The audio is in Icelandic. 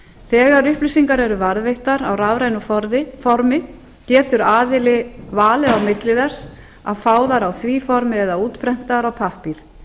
þegar upplýsingar eru varðveittar á rafrænu formi getur aðili valið á milli þess að fá þær á því formi eða eða útprentaðar á pappír